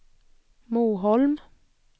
Moholm